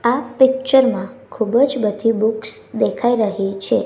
આ પિક્ચર મા ખુબજ બધી બુક્સ દેખાય રહી છે.